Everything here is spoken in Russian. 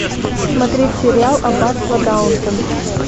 смотреть сериал аббатство даунтон